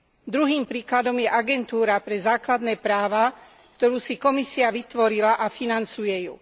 Druhým príkladom je Agentúra pre základné práva, ktorú si Komisia vytvorila a financuje ju.